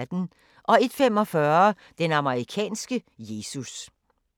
01:45: Den amerikanske Jesus